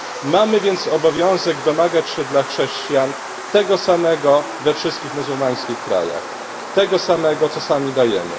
Mamy więc obowiązek domagać się dla chrześcijan tego samego we wszystkich muzułmańskich krajach, tego samego, co sami dajemy.